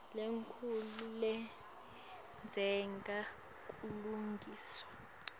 lenkhulu ledzinga kulungiswa